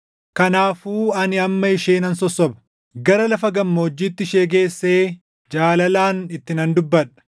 “Kanaafuu ani amma ishee nan sossoba; gara lafa gammoojjiitti ishee geessee jaalalaan itti nan dubbadha.